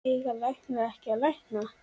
Eiga læknar ekki að lækna?